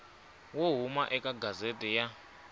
wo huma eka gazette ya